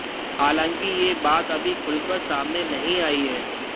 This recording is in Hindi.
हालांकि यह बात अभी खुलकर सामने नहीं आई है